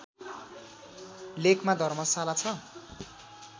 लेकमा धर्मशाला छ